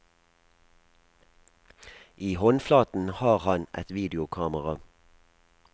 I håndflaten har han et videokamera.